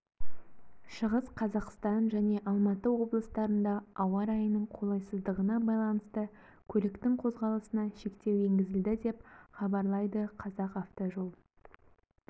шығыс қазақстан және алматы облыстарында ауа райының қолайсыздығына байланысты көліктің қозғалысына шектеу енгізілді деп хабарлайды қазақавтожол